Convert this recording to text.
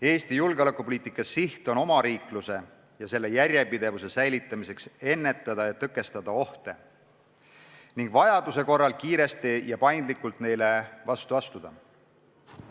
Meie julgeolekupoliitika siht on omariikluse ja selle järjepidevuse säilitamiseks ennetada ja tõkestada ohte ning vajaduse korral kiiresti ja paindlikult neile vastu astuda.